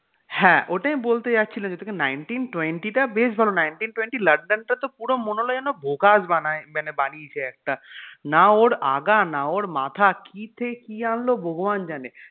হ্যাঁ ওটাই বলতে যাচ্ছিলাম যে nineteen twenty টা বেশ ভালো nineteen twenty london টা তো পুরো মনে হল যেন vogous বানায় মানে বানিয়েছে একটা না ওর আগা না ওর মাথা কি থেকে কি আনল ভগবান জানে.